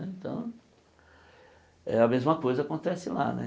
Então, eh a mesma coisa acontece lá né.